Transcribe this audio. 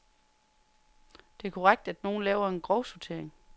Det er korrekt, at nogen laver en grovsortering.